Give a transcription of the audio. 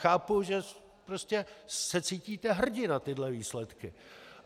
Chápu, že se prostě cítíte hrdi na tyhle výsledky.